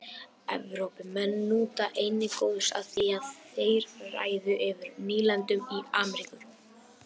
Evrópumenn nutu einnig góðs af því að þeir réðu yfir nýlendum í Ameríku.